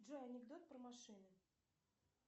джой анекдот про машины